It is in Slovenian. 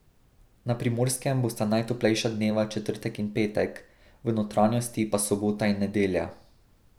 Na Primorskem bosta najtoplejša dneva četrtek in petek, v notranjosti pa sobota in nedelja.